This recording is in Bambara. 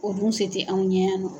O dun se tɛ anw ɲɛ yan nɔ.